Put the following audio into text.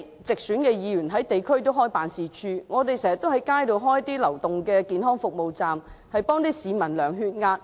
直選議員開設了地區辦事處，我們經常設置流動健康服務街站，為市民量血壓。